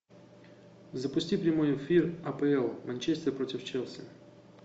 запусти прямой эфир апл манчестер против челси